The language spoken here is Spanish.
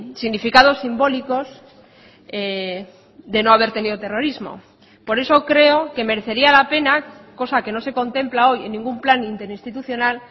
significados simbólicos de no haber tenido terrorismo por eso creo que merecería la pena cosa que no se contempla hoy en ningún plan interinstitucional